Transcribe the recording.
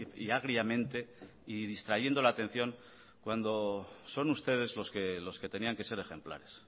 y agriamente y distrayendo la atención cuando son ustedes los que tenían que ser ejemplares